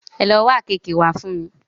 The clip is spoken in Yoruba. Ẹ lo wá àkeekee wá fún mi!